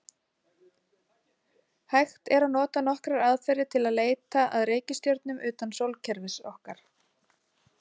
Hægt er að nota nokkrar aðferðir til að leita að reikistjörnum utan sólkerfis okkar.